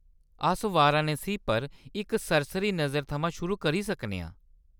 अस वाराणसी पर इक सरसरी नजर थमां शुरुआत करी सकने आं।